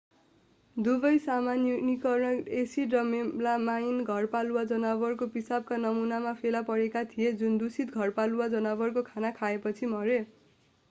दुवै cyanuric acid र melamine घरपालुवा जनावरको पिसाबका नमूनामा फेला परेका थिए जुन दूषित धरपालुवा जनावरको खाना खाएपछि मरे